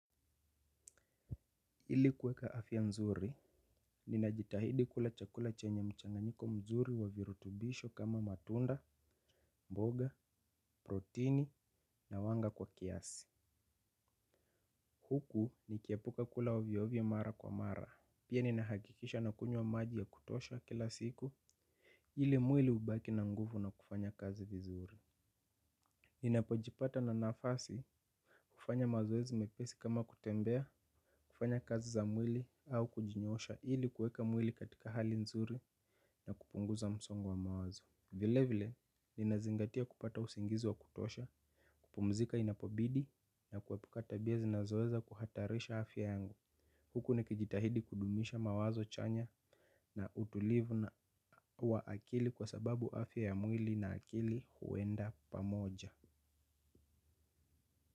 Ili kuweka afya nzuri, ninajitahidi kula chakula chenye mchanganyiko mzuri wa virutubisho kama matunda, mboga, protini na wanga kwa kiasi. Huku nikiepuka kula ovyovyo mara kwa mara. Pia ninahakikisha nakunywa maji ya kutosha kila siku, ili mwili ubaki na nguvu na kufanya kazi vizuri. Ninapojipata na nafasi kufanya mazoezi mepesi kama kutembea, kufanya kazi za mwili au kujinyoosha ili kueka mwili katika hali nzuri na kupunguza msongo wa mawazo. Vile vile, ninazingatia kupata usingizi wa kutosha, kupumzika inapobidi na kuepuka tabia zinazoweza kuhatarisha afya yangu. Huku nikijitahidi kudumisha mawazo chanya na utulivu na wa akili kwa sababu afya ya mwili na akili huenda pamoja.